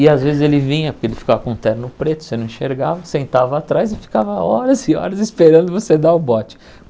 E às vezes ele vinha, porque ele ficava com o terno preto, você não enxergava, sentava atrás e ficava horas e horas esperando você dar o bote.